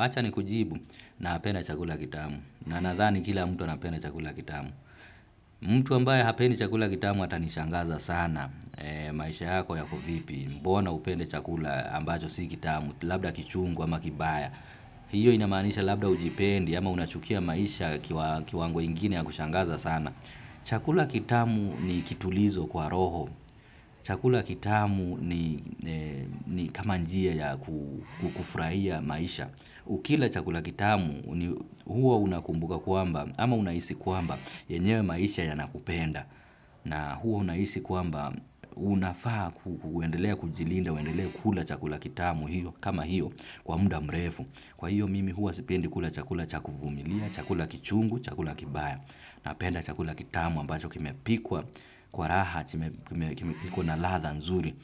hacha ni kujibu nahapenda chakula kitamu. Na nathani kila mtu anapenda chakula kitamu. Mtu ambaye hapenda chakula kitamu hata nishangaza sana maisha yako yako vipi. Mbona upende chakula ambacho si kitamu, labda kichungu ama kibaya. Hiyo inamanisha labda ujipendi ama unachukia maisha kiwango ingine ya kushangaza sana. Chakula kitamu ni kitulizo kwa roho. Chakula kitamu ni kama njia ya kufraia maisha. Ukila chakula kitamu huo unakumbuka kuamba ama unaisi kuamba yenyewe maisha ya nakupenda. Na huo unaisi kuamba unafaa kuendelea kujilinda, uendelea kuhula chakula kitamu hiyo kama hiyo kwa muda mrefu. Kwa hiyo mimi hua sipendi kula chakula cha kufumilia, chakula kichungu, chakula kibaya. Na penda chakula kitamu ambacho kimepikwa kwa raha, kimepikwa na latha nzuri.